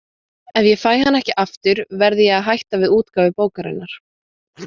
Ef ég fæ hann ekki aftur verð ég að hætta við útgáfu bókarinnar.